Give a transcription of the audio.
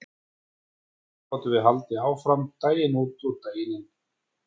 Svona gátu þau haldið áfram daginn út og daginn inn.